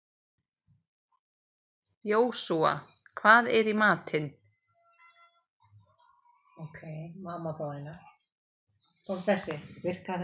Jósúa, hvað er í matinn?